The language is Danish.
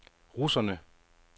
russerne